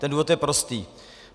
Ten důvod je prostý.